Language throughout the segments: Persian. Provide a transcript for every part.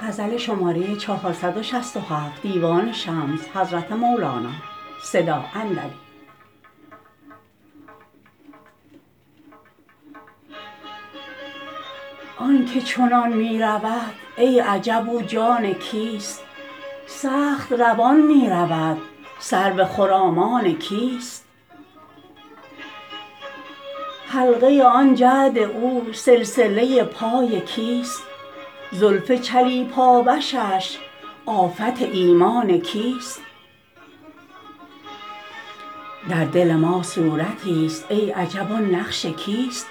آنک چنان می رود ای عجب او جان کیست سخت روان می رود سرو خرامان کیست حلقه آن جعد او سلسله پای کیست زلف چلیپا و شش آفت ایمان کیست در دل ما صورتیست ای عجب آن نقش کیست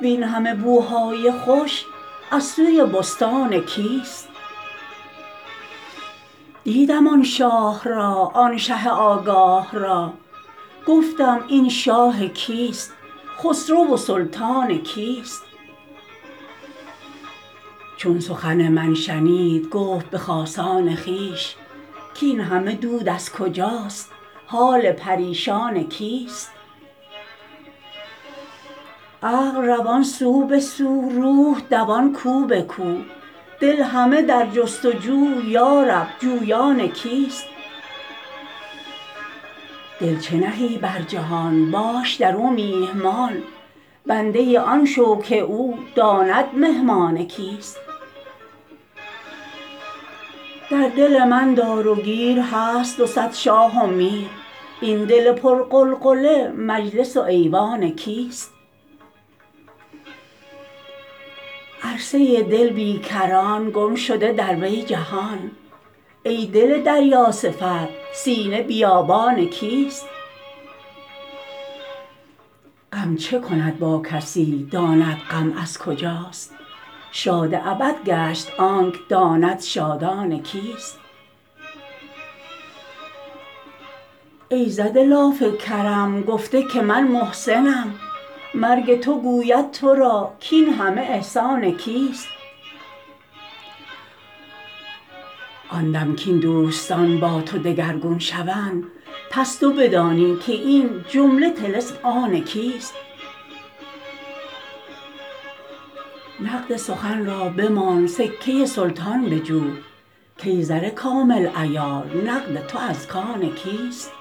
وین همه بوهای خوش از سوی بستان کیست دیدم آن شاه را آن شه آگاه را گفتم این شاه کیست خسرو و سلطان کیست چون سخن من شنید گفت به خاصان خویش کاین همه درد از کجاست حال پریشان کیست عقل روان سو به سو روح دوان کو به کو دل همه در جست و جو یا رب جویان کیست دل چه نهی بر جهان باش در او میهمان بنده آن شو که او داند مهمان کیست در دل من دار و گیر هست دو صد شاه و میر این دل پرغلغله مجلس و ایوان کیست عرصه دل بی کران گم شده در وی جهان ای دل دریاصفت سینه بیابان کیست غم چه کند با کسی داند غم از کجاست شاد ابد گشت آنک داند شادان کیست ای زده لاف کرم گفته که من محسنم مرگ تو گوید تو را کاین همه احسان کیست آن دم کاین دوستان با تو دگرگون شوند پس تو بدانی که این جمله طلسم آن کیست نقد سخن را بمان سکه سلطان بجو کای زر کامل عیار نقد تو از کان کیست